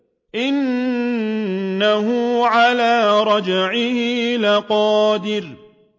إِنَّهُ عَلَىٰ رَجْعِهِ لَقَادِرٌ